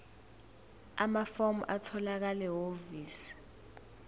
amafomu atholakala ehhovisi